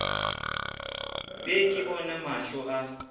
be ke bona mahlo a